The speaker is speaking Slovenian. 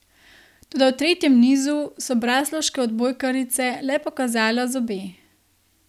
Toda v tretjem nizu so braslovške odbojkarice le pokazale zobe.